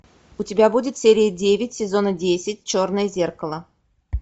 у тебя будет серия девять сезона десять черное зеркало